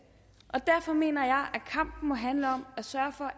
derfor mener jeg at kampen må handle om at sørge for